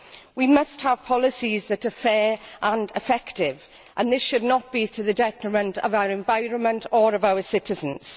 We must have policies that are fair and effective, and this should not be to the detriment of our environment or of our citizens.